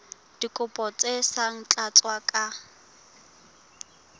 dikopo tse sa tlatswang ka